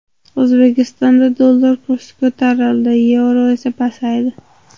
O‘zbekistonda dollar kursi ko‘tarildi, yevro esa pasaydi.